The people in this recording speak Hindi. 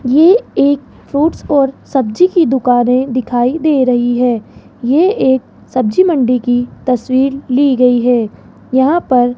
ये एक फ्रूट्स और सब्जी की दुकानें दिखाई दे रही है ये एक सब्जी मंडी की तस्वीर ली गयी है यहां पर --